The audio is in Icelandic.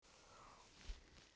En samt hefur það gerst.